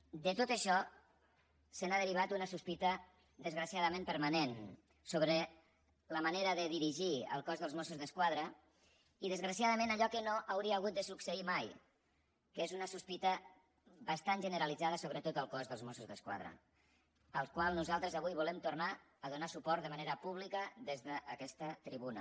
de tot això se n’ha derivat una sospita desgraciadament permanent sobre la manera de dirigir el cos dels mossos d’esquadra i desgraciadament allò que no hauria hagut de succeir mai que és una sospita bastant generalitzada sobre tot el cos dels mossos d’esquadra al qual nosaltres avui volem tornar a donar suport de manera pública des d’aquesta tribuna